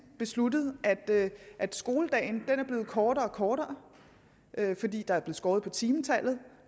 besluttet skoledagen er blevet kortere og kortere fordi der er skåret på timetallet